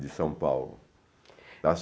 de São Paulo. Está